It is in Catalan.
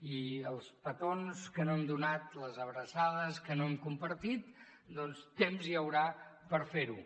i els petons que no hem donat les abraçades que no hem compartit doncs temps hi haurà per fer ho